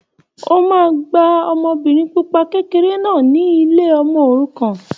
O máa gba ọmọbìnrin pupa kékeré náà ni ilé ọmọ òrukàn.